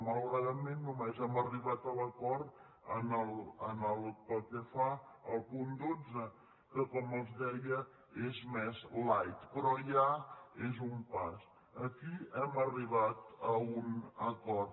malauradament només hem arribat a l’acord pel que fa al punt dotze que com els deia és més light però ja és un pas aquí hem arribat a un acord